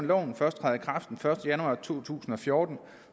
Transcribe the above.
loven først træder i kraft den første januar to tusind og fjorten